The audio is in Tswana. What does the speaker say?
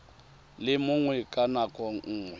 le mongwe ka nako nngwe